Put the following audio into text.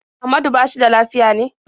Ahmadu ba shi da lafiya ne?